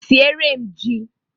Sieere m jí!